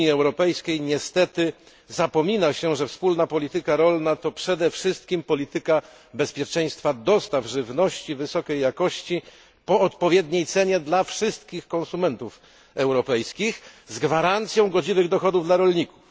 W Unii Europejskiej niestety zapomina się, że Wspólna Polityka Rolna to przede wszystkim polityka bezpieczeństwa dostaw żywności wysokiej jakości po odpowiedniej cenie dla wszystkich konsumentów europejskich z gwarancją godziwych dochodów dla rolników.